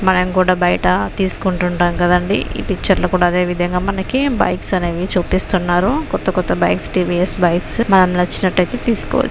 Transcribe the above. మనం కూడా బయట తీస్కుంటుంటాం కదండి ఈ పిచ్చర్ లో కూడా అదేవిధంగా మనకి బైక్స్ అనేవి చూపిస్తున్నారు. కొత్త కొత్త బైక్స్ టీ.వి.యస్. బైక్స్ మనకి నచ్చినట్టైతే తీస్కో --